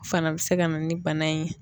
O fana bɛ se ka na ni bana in ye.